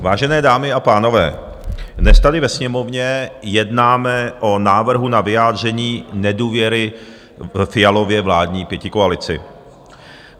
Vážené dámy a pánové, dnes tady ve Sněmovně jednáme o návrhu na vyjádření nedůvěry Fialově vládní pětikoalici.